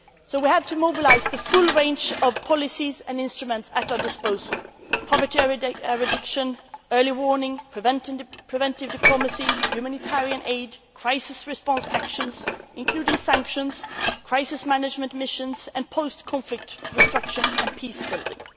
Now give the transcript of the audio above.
We have to mobilise the full range of policies and instruments at our disposal with regard to poverty eradication, early warning systems and preventive diplomacy, humanitarian aid, crisis response actions, including sanctions, crisis management missions and post conflict reconstruction and peace building.